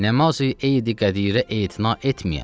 Namazi Eid-i Qədirə etina etməyəm.